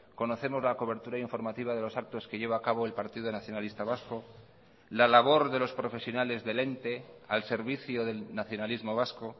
conocemos la cobertura informativa de los actos que lleva a cabo el partido nacionalista vasco la labor de los profesionales del ente al servicio del nacionalismo vasco